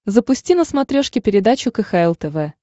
запусти на смотрешке передачу кхл тв